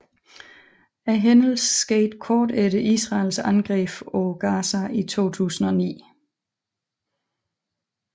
Hændelsen skete kort efter Israels angreb på Gaza i 2009